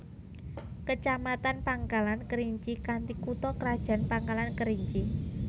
Kecamatan Pangkalan Kerinci kanthi kutha krajan Pangkalan Kerinci